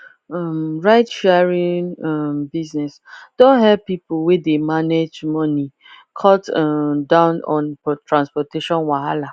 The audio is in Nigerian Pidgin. um ride sharing um business don help people wey dey manage moneycut um down on transportation wahala